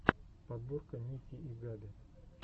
подборка ники и габи